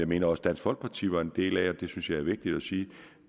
mener dansk folkeparti var en del af og det synes jeg er vigtigt at sige